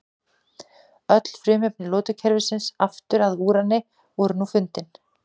Öll frumefni lotukerfisins aftur að úrani voru nú fundin.